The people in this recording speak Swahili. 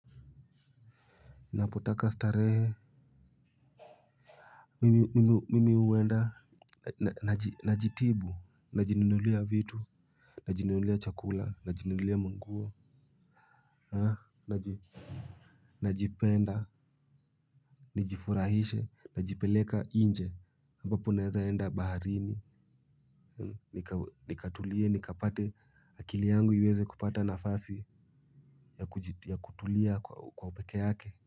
Napotaka starehe mimi huenda. Najitibu. Najinunulia vitu. Najinunulia chakula najinunulia manguo. Najipenda. Nijifurahishe najipeleka inje aMbapo naezaenda baharini. Nikatulie nikapate akili yangu iweze kupata nafasi ya kutulia kwa upeke yake.